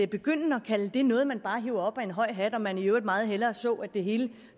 begynde at kalde det noget man bare hiver op af en høj hat og at man i øvrigt meget hellere så at det hele